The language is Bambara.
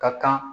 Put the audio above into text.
Ka kan